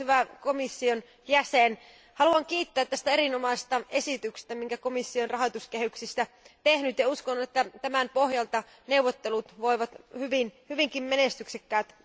Arvoisa puhemies, arvoisa komission jäsen, haluan kiittää tästä erinomaisesta esityksestä, jonka komissio on rahoituskehyksistä tehnyt, ja uskon, että tämän pohjalta neuvottelut voivat olla hyvinkin menestyksekkäät.